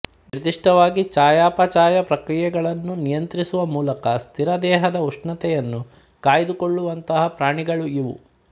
ನಿರ್ದಿಷ್ಟವಾಗಿ ಚಯಾಪಚಯ ಪ್ರಕ್ರಿಯೆಗಳನ್ನು ನಿಯಂತ್ರಿಸುವ ಮೂಲಕ ಸ್ಥಿರ ದೇಹದ ಉಷ್ಣತೆಯನ್ನು ಕಾಯ್ದುಕೊಳ್ಳವಂತಹ ಪ್ರಾಣಿಗಳು ಇವು